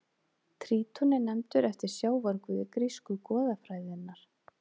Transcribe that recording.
Tríton er nefndur eftir sjávarguði grísku goðafræðinnar.